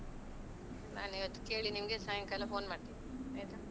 ನಾನ್ ಇವತ್ತು ಕೇಳಿ ನಿಮ್ಗೆ ಸಾಯಂಕಾಲ phone ಮಾಡ್ತೀನಿ ಆಯ್ತಾ.